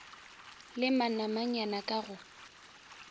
le manamanyana k a go